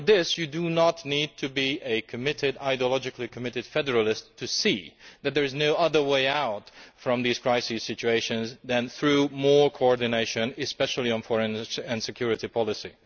You do not need to be an ideologically committed federalist to see that there is no other way out of these crisis situations than through more coordination, especially on foreign and security policy.